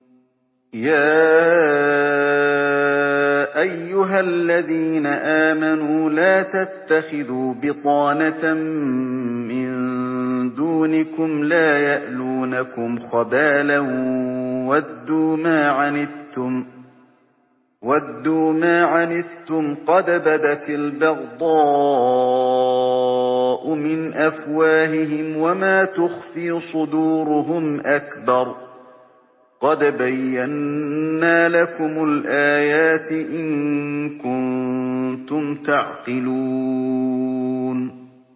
يَا أَيُّهَا الَّذِينَ آمَنُوا لَا تَتَّخِذُوا بِطَانَةً مِّن دُونِكُمْ لَا يَأْلُونَكُمْ خَبَالًا وَدُّوا مَا عَنِتُّمْ قَدْ بَدَتِ الْبَغْضَاءُ مِنْ أَفْوَاهِهِمْ وَمَا تُخْفِي صُدُورُهُمْ أَكْبَرُ ۚ قَدْ بَيَّنَّا لَكُمُ الْآيَاتِ ۖ إِن كُنتُمْ تَعْقِلُونَ